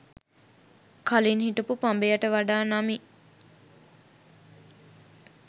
කලින් හිටපු පඹය ට වඩා නමි